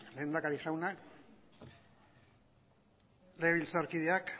lehendakari jauna legebiltzarkideak